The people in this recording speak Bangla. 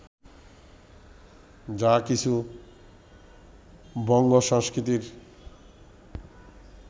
যা কিছু বঙ্গসংস্কৃতির